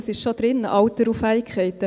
Es ist schon drin, Alter und Fähigkeiten.